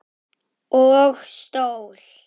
Og stól.